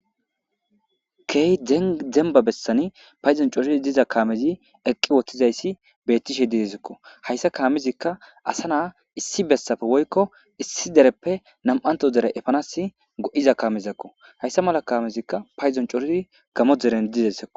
Hey demba bessani payzon coori diza kaamezi eqqi woththizayssi bettishe didezikko hayssa kaamizikka asa naa issi bessafe woykko issi dereppe nam7anto dere efanas go7iza kamezakko hayssa mala kaamezikka payzon corii gamo deren didesiko.